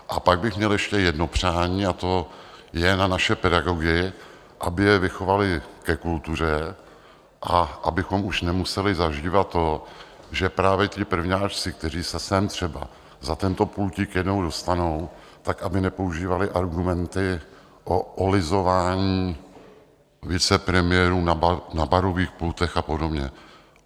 A pak bych měl ještě jedno přání, a to je na naše pedagogy, aby je vychovali ke kultuře a abychom už nemuseli zažívat to, že právě ti prvňáčci, kteří se sem třeba za tento pultík jednou dostanou, tak aby nepoužívali argumenty o olizování vicepremiérů na barových pultech a podobně.